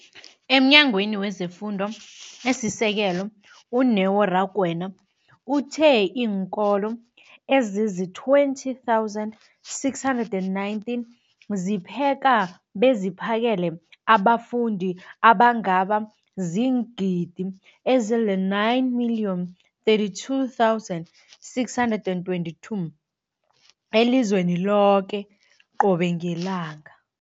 EmNyangweni wezeFundo esiSekelo, u-Neo Rakwena, uthe iinkolo ezizi-20 619 zipheka beziphakele abafundi abangaba ziingidi ezili-9 032 622 elizweni loke qobe ngelanga.